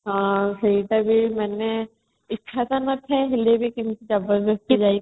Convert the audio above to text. ହଁ ସେଇତବି ମାନେ ଇଚ୍ଛା ତ ନଥାଏ ହେଲେବି ସେମିତି